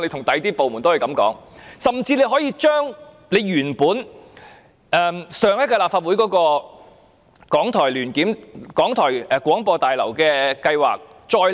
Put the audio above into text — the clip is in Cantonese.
當局甚至可以將提交上屆立法會的港台新廣播大樓計劃，再次提交。